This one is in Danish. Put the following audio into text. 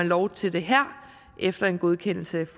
lov til det efter en godkendelse